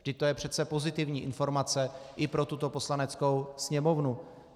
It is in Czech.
Vždyť to je přece pozitivní informace i pro tuto Poslaneckou sněmovnu.